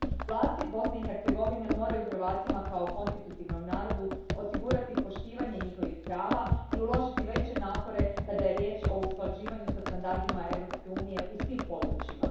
Vlasti Bosne i Hercegovine moraju Hrvatima kao konstitutivnom narodu osigurati poštivanje njihovih prava i uložiti veće napore kada je riječ o usklađivanju sa standardima Europske unije u svim područjima.